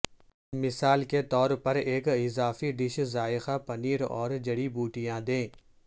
مثال کے طور پر ایک اضافی ڈش ذائقہ پنیر اور جڑی بوٹیاں دے